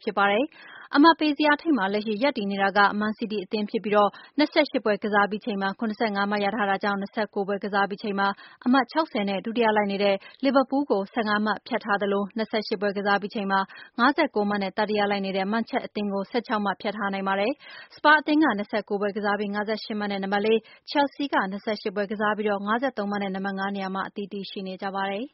ဖြစ်ပါတယ်။ အမှတ်ပေးဇယားထိပ်မှာ လက်ရှိ ရပ်တည်နေတာက မန်စီးတီးအသင်းဖြစ်ပြီး ၂၈ ပွဲကစားပြီးချိန်မှာ ၇၅ မှတ် ရထားတာကြောင့် ၂၉ ပွဲကစားပြီးချိန်မှာ အမှတ် ၆၀ နဲ့ ဒုတိယလိုက်နေတဲ့ လီဗာပူးလ်ကို ၁၅ မှတ်ဖြတ်ထားသလို ၂၈ ပွဲကစားပြီးချိန်မှာ ၅၉ မှတ်နဲ့ တတိယလိုက်နေတဲ့ မန်ချက်အသင်းကို ၁၆ မှတ် ဖြတ်ထားနိုင်ပါတယ်။ စပါးအသင်းက ၂၉ ပွဲကစားပြီး ၅၈ မှတ်နဲ့ နံပါတ်လေး၊ ချယ်လ်ဆီးက ၂၈ ပွဲကစားပြီး ၅၃ မှတ်နဲ့ နံပါတ်ငါးနေရာမှာ အသီးသီး ရှိနေကြပါတယ်။